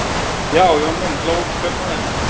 Já, Jón minn, hló kaupmaðurinn.